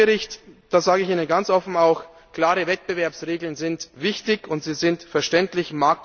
Beim Bericht Grosch sage ich Ihnen ganz offen auch, klare Wettbewerbsregeln sind wichtig und sie sind verständlich.